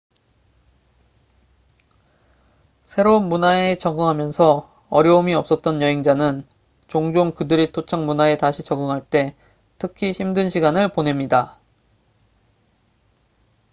새로운 문화에 적응하면서 어려움이 없었던 여행자는 종종 그들의 토착 문화에 다시 적응할 때 특히 힘든 시간을 보냅니다